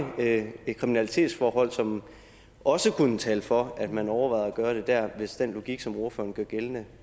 kriminalitetsforhold som også kunne tale for at man overvejede at gøre det der hvis den logik som ordføreren gør gældende